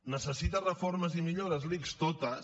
necessita reformes i millores l’ics totes